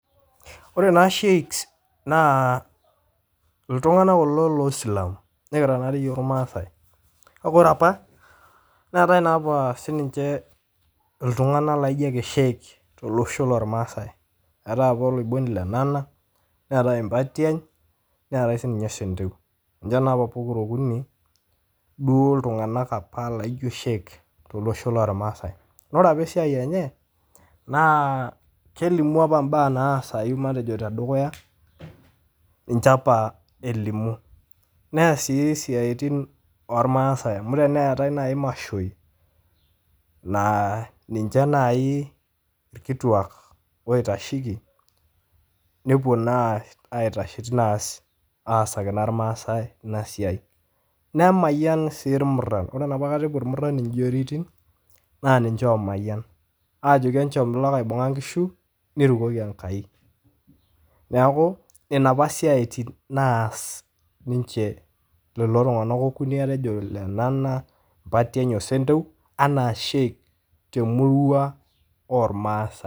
Ore naa sheiks naa ltungana kulo loisilamu, nikira naa rei yook ilmaasai, naaku ore apa neatae naa rei apa si ninche ltungana naijonake sheik to losho loolmaasai, eatae apa oloiboni Lenana neatae Mpatian, neatae sii ninye Senteu, ninche naa apa pokira okuni duo ltunganak apa laijo sheik to losho loolmaasai naa ore apa esiai enye naa kelimu apa imbaa naasayu matejo te dukuya, ninche apa elimu, neas sii siatin ormasaai amu teneetae naa dei imashoi naa ninche nai ilkituak oitasheki nepo nai aitasheki neasa aasaki naa ilmaasai ina siai, nemayan siii irmuran kore napa katai epo irmuran injoiretin naa ninche oomayian, aajoki enchom lakaibung'a inkishu neirukoki enkai, neaku nenia apa siatin naasa ninche lelo tunganak okuni atejo Lenana, Mpatian oo Senteu anaa sheik te murua olmaasai.